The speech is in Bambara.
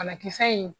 Banakisɛ in